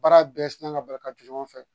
Baara bɛɛ sina ka bali ka jɔ ɲɔgɔn fɛ